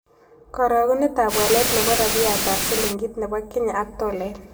Karagunetap walet ne po rabiyatap silingit ne bo kenya ak tolait